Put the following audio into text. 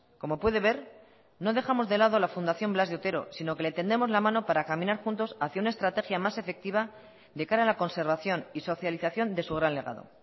como puede ver no dejamos de lado la fundación blas de otero sino que le tendemos la mano para caminar juntos hacia una estrategia más efectiva de cara a la conservación y socialización de su gran legado